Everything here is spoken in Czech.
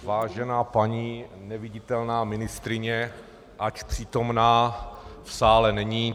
Vážená paní neviditelná ministryně, ač přítomna, v sále není.